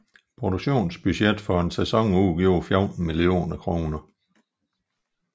Produktionsbudgettet for en sæson udgjorde 14 millioner kroner